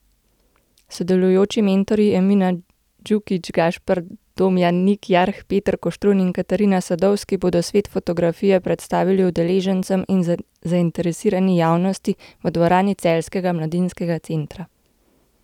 Sodelujoči mentorji Emina Djukić, Gašper Domjan, Nik Jarh, Peter Koštrun in Katarina Sadovski bodo svet fotografije predstavili udeležencem in zainteresirani javnosti v dvorani Celjskega mladinskega centra.